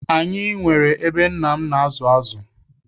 Anyị nwere ebe nna m na-azụ azụ.